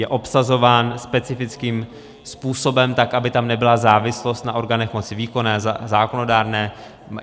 Je obsazován specifickým způsobem, tak aby tam nebyla závislost na orgánech moci výkonné, zákonodárné.